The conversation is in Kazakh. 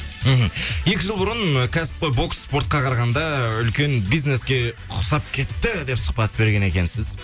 мхм екі жыл бұрын кәсіпқой бокс спортқа қарағанда үлкен бизнеске ұқсап кетті деп сұхбат берген екенсіз